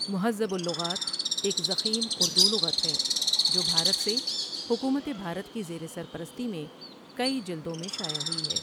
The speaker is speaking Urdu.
مہذب اللغات ایک ضخیم اردو لغت ہے جو بھارت سے حکومت بھارت کی زیر سرپرستی میں کئی جلدوں میں شائع ہوئی ہے ۔